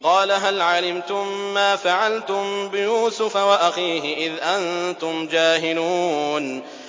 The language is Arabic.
قَالَ هَلْ عَلِمْتُم مَّا فَعَلْتُم بِيُوسُفَ وَأَخِيهِ إِذْ أَنتُمْ جَاهِلُونَ